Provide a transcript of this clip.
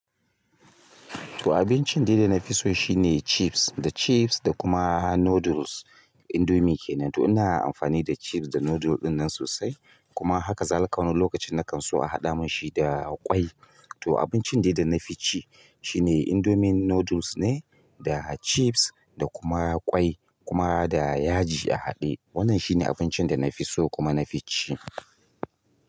To abincin daida na fi so shine chips. Da chips da kuma noodles, indomie kenan. To ina amfani da chips da noodle ɗinnan sosai kuma haka zalika wani lokacin na kan so a haɗa min shi da ƙwai. To abincin dai da nafi ci shine indomie noodles ne da chips da kuma ƙwai kuma da yaji a haɗe. Wannan shine abincin da na fi so kuma na fi ci.